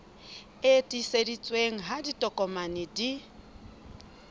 e tiiseditsweng ha ditokomane di